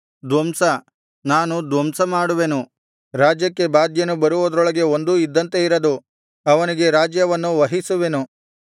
ಧ್ವಂಸ ನಾನು ಧ್ವಂಸ ಮಾಡುವೆನು ರಾಜ್ಯಕ್ಕೆ ಬಾಧ್ಯನು ಬರುವುದರೊಳಗೆ ಒಂದೂ ಇದ್ದಂತೆ ಇರದು ಅವನಿಗೆ ರಾಜ್ಯವನ್ನು ವಹಿಸುವೆನು